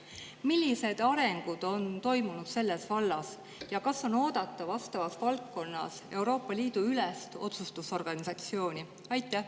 Millised arengud on selles vallas toimunud ja kas vastavas valdkonnas on oodata Euroopa Liidu ülest otsustusorganisatsiooni?